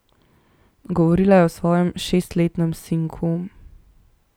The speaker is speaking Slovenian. Govorila je o svojem šestletnem sinku.